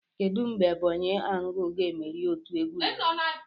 Kedu mgbe Ebonyi angle ga-emeri otu egwuregwu?